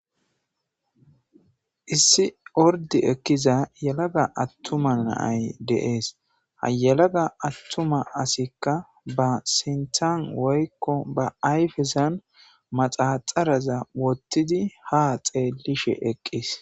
Issi ord ekiza atuma na'ayi de'es , ha yelaga atuma asiyka ba sinthan woyko ba ayfesn maxaxaraza wothid ha xeelishe eqis